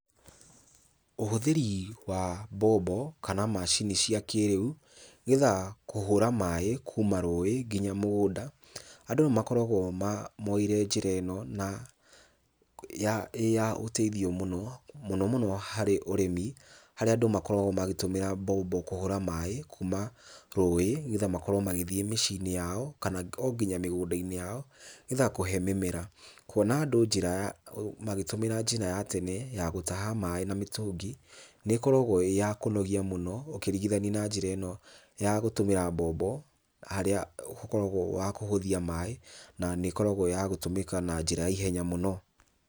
Ũhũthĩri wa mbombo kana macini cia kĩrĩu, nĩgetha kũhũra maĩ kuma rũĩ kinya mũgũnda, andũ nĩmakoragwo moeire njĩra ĩno na ĩya ũteithio mũno, mũno mũno harĩ ũrĩmi, harĩa andũ makoragwo makĩtũmĩra mbombo kũhũra maĩ kuma rũĩ nĩgetha makorwo magĩthiĩ mĩciĩ-inĩ yao kana o nginya mĩgũnda-inĩ yao, nĩgetha kũhe mĩmera. Kuona andũ njĩra ya magĩtũmĩra njĩra ya tene ya gũtaha maĩ na mĩtũngi nĩĩkoragwo ĩya kũnogia mũno ũkĩringithania na njĩra ĩno ya gũtũmĩra mbombo harĩa ũkoragwo wa kũhũthia maĩ na nĩkoragwo ya gũtũmĩka na njĩra ya ihenya mũno.